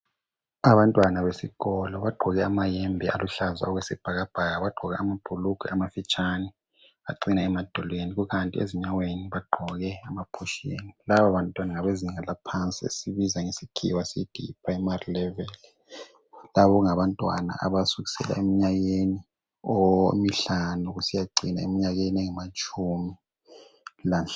Abantwana besikolo bagqoke amayembe aluhlaza okwesibhakabhaka bagqoka lamabhulugwe amafitshane acina emadolweni kukanti ezinyaweni bagqoke ama push-in. Lababantwana ngabezinga laphansi esikubiza ngesikhwa sithi yi Primary level. Laba ngabantwana abasukela eminyakeni emihalanu kusiya engamatshumi lanhlanu